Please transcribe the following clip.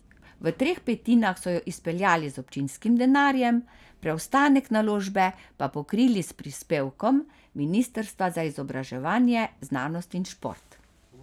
V treh petinah so jo izpeljali z občinskim denarjem, preostanek naložbe pa pokrili s prispevkom ministrstva za izobraževanje, znanost in šport.